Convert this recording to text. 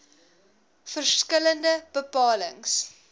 verskil lende bepalings